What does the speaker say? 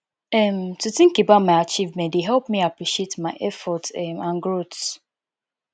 um to think about my achievements dey help me appreciate my efforts um and growth